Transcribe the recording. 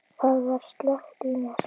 Það var slökkt í mér.